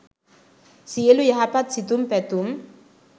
සියළු යහපත් සිතුම් පැතුම්